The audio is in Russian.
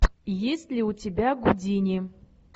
есть ли у тебя гудини